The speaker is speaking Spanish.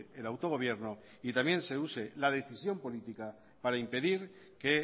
el autogobierno y también se use la decisión política para impedir que